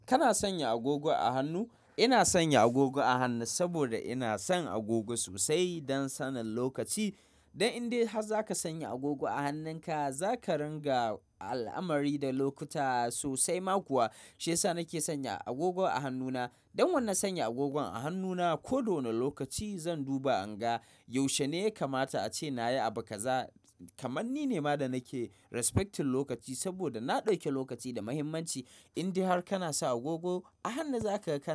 Kana sanya agogo a hannu? Ina sanya agogo a hannu saboda ina son agogo sosai don sanin lokaci. Don indai har zaka sanya agogo a hannunka, zaka ringa al'amari da lokuta sosai. Ma kuwa, shiyasa nake sanya agogon a hannuna. Don wannan sanya agogon a hannuna, ko wane lokaci zan duba anga. Yaushe ne ya kamata ace nayi abu kaza. Kamanni ne ma da nake respecting lokaci saboda na ɗauke lokaci da muhimmanci. Indai har kana sa agogo a hannu zaka ƙara.